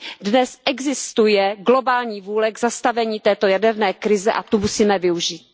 Dnes existuje globální vůle k zastavení této jaderné krize a tu musíme využít.